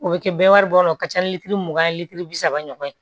O bɛ kɛ bɛɛ wari bɔ o ka ca ni litiri mugan ye litiri bi saba ɲɔgɔn ye